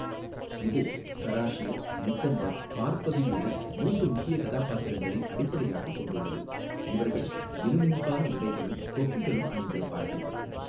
இது கராஷேர், நிக்கந்தர், பார்பதி என மூன்று முக்கிய கதாபாத்திரங்களை அடிப்படையாகக் கொண்டுள்ளது, இவர்கள் மினுமினுப்பான உடைகளும் தொப்பிகளும் அணிந்திருப்பார்கள்.